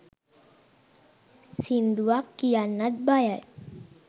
සින්දුවක් කියන්නත් බයයි